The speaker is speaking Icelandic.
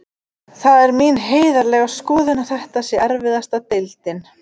Það er mín heiðarlega skoðun að þetta sé erfiðasta deildin.